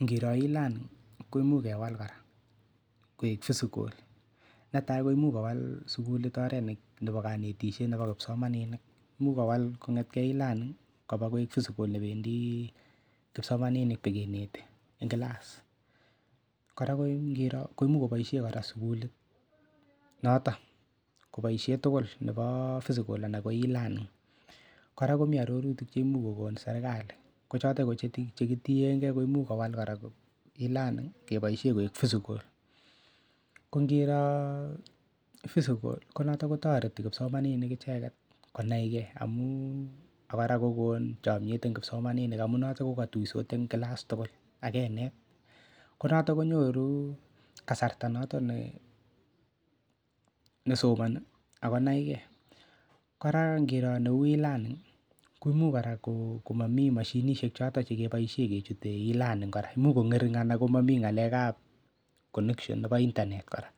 Ngiro e-learning ko imuuch kewal kora koek physical netai ko imuuch kowal sukulit oret nebo kanetishet nebo kipsomaninik muuch kowal kong'etgei e-learning koba koek physical nependi kipsomaninik pikeneti eng' kilas kora ko ngiro ko muuch koboishe kora sukulit noto koboishe tugul nebo physical anan ko e-learning kora komi arorutik chemuch kokonu serikali ko choto ko chekitiengei ko imuuch kowal kora e-learning keboishe koek physical ko ngiro physical ko notok kotoreti kipsomaninik icheget konaigei akora kokonu chomyet eng' kipsomaninik amun noto kokatuosot eng' kilas tugul akenet ko noto konyoru kasarta noto nesomoni ako naigei kora ngiro neu e-learning ko imuuch kora komami mashinishek choto chekeboishe kechutei e-learning kora muuch kong'ering' anan komami ng'alekab connection nebo internet kora